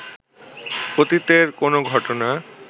অতীতের কোনো ঘটনা